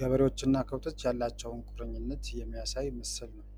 ገበሬዎች እና ከብቶች ያላቸዉን ቁርኝነት የሚያሳይ ምስል ነዉ።